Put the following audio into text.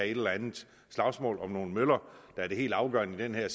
et eller andet slagsmål om nogle møller der er det helt afgørende her